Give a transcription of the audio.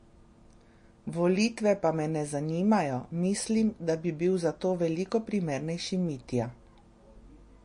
Volitve pa me ne zanimajo, mislim, da bi bil za to veliko primernejši Mitja.